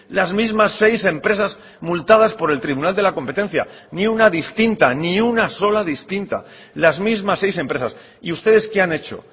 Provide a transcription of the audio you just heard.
las mismas seis empresas multadas por el tribunal de la competencia ni una distinta ni una sola distinta las mismas seis empresas y ustedes qué han hecho